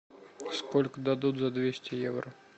сколько дадут за двести евро